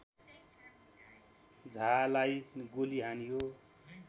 झालाई गोली हानियो